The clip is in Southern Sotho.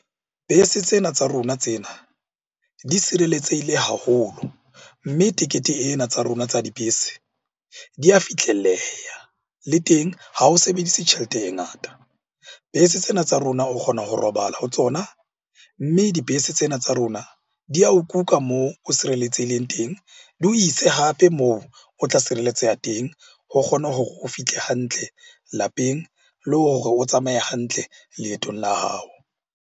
Bese tsena tsa rona tsena di sireletsehile haholo. Mme tekete ena tsa rona tsa dibese di a fihlelleha, le teng ha o sebedise tjhelete e ngata. Bese tsena tsa rona o kgona ho robala ho tsona, mme dibese tsena tsa rona di ya o kuka moo o sireletsehileng teng di o ise hape moo o tla sireletseha teng ho kgona hore o fihle hantle lapeng. Le hore o tsamaye hantle leetong la hao.